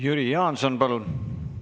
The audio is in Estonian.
Jüri Jaanson, palun!